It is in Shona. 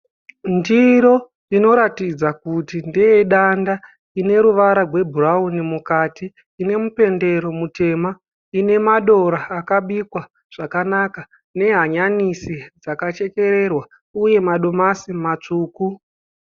Ndiri inoratidza kuti ndeyedanda. lne ruvara rwebhurawuni mukati. lne mupendero mutema. lne madora akabikwa zvakanaka nehanyanisi dzakachekererwa, uye madomasi matsvuku.